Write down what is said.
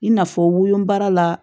I n'a fɔ woloba la